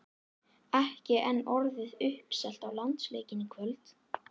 Ekki enn orðið uppselt á landsleikinn í kvöld?